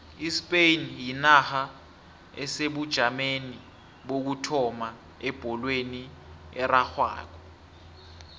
ispain yinarha esebujameni bokuthoma ebholweni erarhwako